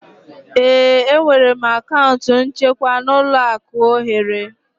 Ee, enwere m akaụntụ nchekwa n'ụlọaku ohere